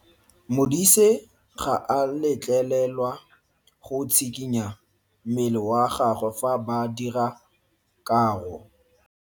Modise ga a letlelelwa go tshikinya mmele wa gagwe fa ba dira karo.